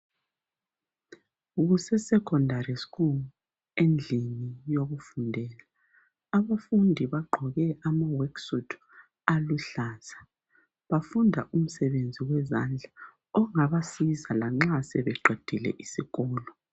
KuseSecondary school endlini yokufundela abafundi bagqoke ama work suit aluhlaza bafunda umsebenzi wezandla ongabasiza lanxa sebeqedile isikolo.